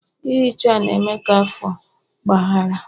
ihicha na-eme ka afọ ọgbaghara